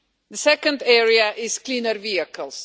The second area is cleaner vehicles.